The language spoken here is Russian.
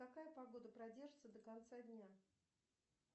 какая погода продержится до конца дня